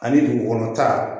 Ani dugu kɔnɔ ta